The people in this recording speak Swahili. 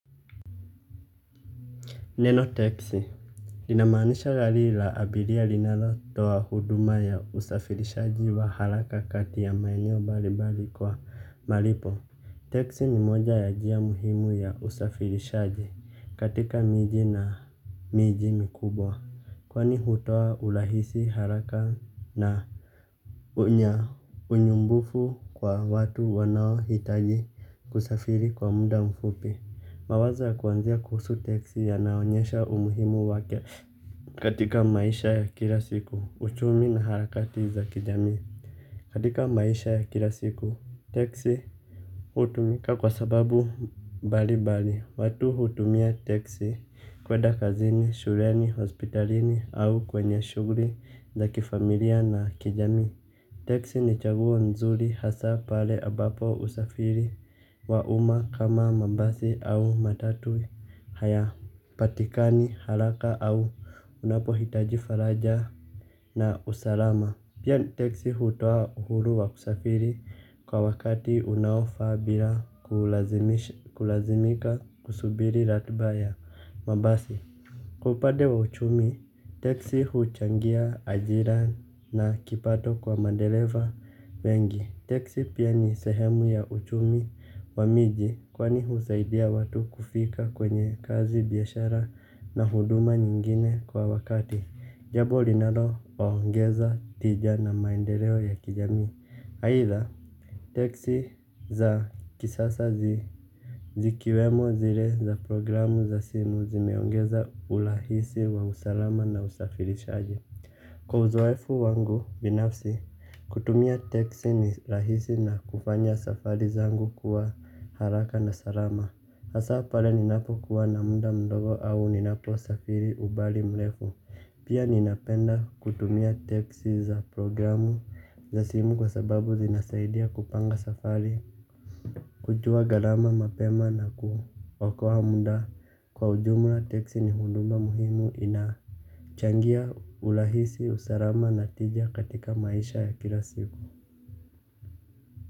Neno teksi inamaanisha gali la abiria linalo toa huduma ya usafirishaji wa haraka kati ya maeneo mbalimbali kwa malipo. Teksi ni moja ya jia muhimu ya usafirishaji katika miji na miji mikubwa. Kwani hutoa ulahisi haraka na unya unyumbufu kwa watu wanao hitaji kusafiri kwa muda mfupi. Mawaza kuwanzia kuhusu teksi ya naonyesha umuhimu wake. Katika maisha ya kila siku, uchumi na harakati za kijamii katika maisha ya kila siku, teksi hutumika kwa sababu bali bali watu hutumia teksi kweda kazini, shureni, hospitalini au kwenye shuguri za kifamilia na kijamii. Teksi ni chaguo nzuri hasa pale abapo usafiri wa umma kama mabasi au matatu haya patikani haraka au unapo hitaji faraja na usalama. Pia teksi hutua uhuru wa kusafiri kwa wakati unaofa bila kulazimika kusubiri ratuba ya mabasi. Kwa upade wa uchumi, teksi huchangia ajira na kipato kwa mandeleva wengi. Teksi pia ni sehemu ya uchumi wa miji kwani husaidia watu kufika kwenye kazi biyashara na huduma nyingine kwa wakati. Jabo linalo waongeza tija na maendeleo ya kijamii. Haitha, teksi za kisasa zikiwemo zile za programu za simu zimeongeza ulahisi wa usalama na usafirishaji. Kwa uzoefu wangu binafsi kutumia teksi ni rahisi na kufanya safari zangu kuwa haraka na salama. Hasa pale ni napo kuwa namunda mdogo au ni napo safari ubali mlefu pia ni napenda kutumia teksi za programu za simu kwa sababu zinasaidia kupanga safari. Kujua galama mapema na kuokoa munda kwa ujumla teksi ni hundumba muhimu ina changia ulahisi usarama natija katika maisha ya kila siku.